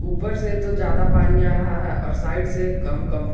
ऊपर से तो ज्यादा पानी आ रहा है और साइड से कम कम--